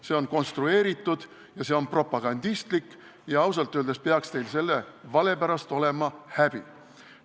See on konstrueeritud ja see on propagandistlik ja ausalt öeldes peaks teil selle vale pärast häbi olema.